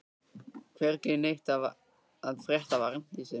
Hvergi neitt að frétta af Arndísi.